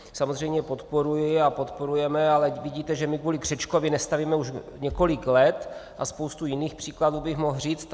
Samozřejmě podporuji a podporujeme, ale vidíte, že my kvůli křečkovi nestavíme už několik let, a spoustu jiných příkladů bych mohl říct.